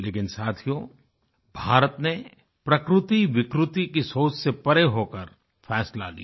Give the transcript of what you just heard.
लेकिन साथियो भारत ने प्रकृति विकृति की सोच से परे होकर फैसला लिया